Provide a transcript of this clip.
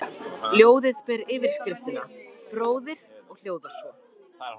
Ljóðið ber yfirskriftina BRÓÐIR og hljóðar svo